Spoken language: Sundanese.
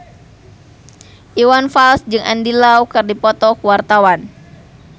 Iwan Fals jeung Andy Lau keur dipoto ku wartawan